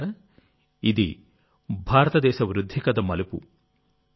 మిత్రులారాఇది భారతదేశ వృద్ధి కథ మలుపు